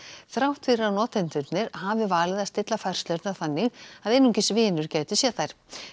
þrátt fyrir að notendurnir hafi valið að stilla færslurnar þannig að einungis vinir gætu séð þær